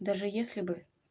даже если бы